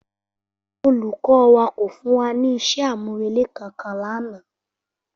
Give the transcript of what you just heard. Olùkó wa kò fún wa ní isé àmúrelé kankan lánàá